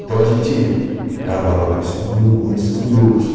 Então a gente gravava com esse grupo com esses grupos.